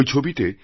ঐ ছবিতে